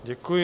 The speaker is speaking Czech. Děkuji.